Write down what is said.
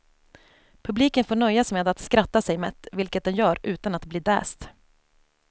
Publiken får nöja sig med att skratta sig mätt, vilket den gör utan att bli däst.